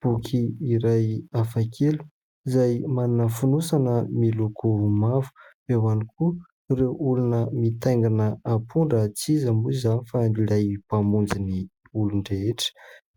Boky iray hafa kely izay manana fonosana miloko mavo, eo ihany koa ireo olona mitaingana ampondra tsy iza moa izany fa ilay mpamonjy ny olon- drehetra,